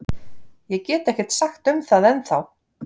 Ég get ekkert sagt um það ennþá.